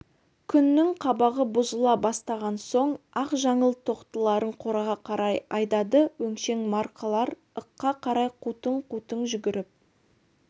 күннің қабағы бұзыла бастаған соң-ақ жаңыл тоқтыларын қораға қарай айдады өңшең марқалар ыққа қарай қутың-қутың жүгіріп